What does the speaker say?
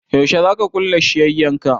Yaushe za ka kulle shiyyan ka?